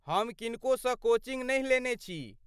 हम किनको सँ कोचिंग नहि लेने छी।